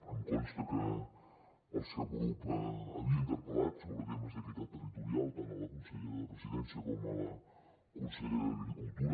em consta que el seu grup havia interpel·lat sobre temes d’equitat territorial tant a la consellera de la presidència com a la conselleria d’agricultura